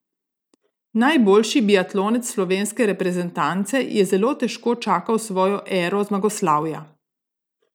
Najboljši biatlonec slovenske reprezentance je zelo težko čakal svojo ero zmagoslavja.